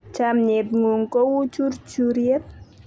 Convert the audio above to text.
chamiet ng'un ko u churchuriet